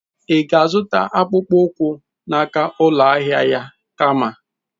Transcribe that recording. Ị ga-azụta akpụkpọ ụkwụ n'aka ụlọ ahịa ya kama?